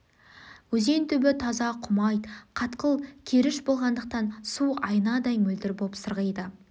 өзен түбі таза құмайт қатқыл керіш болғандықтан су айнадай мөлдір боп сырғиды